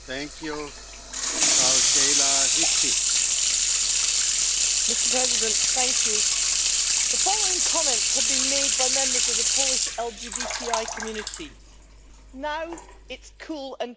Mr President, the following comments have been made by members of the Polish LGBTI community Now it's cool and trendy to be anti gay, we don't feel safe here'.